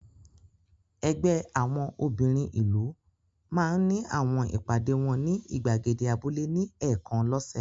Ẹgbẹ́ àwọn obìnrin ìlú máa ń ní àwọn ìpàdé wọn ní ìgbàgede abúlé ní ẹ̀ẹ̀kan lọ́sẹ̀.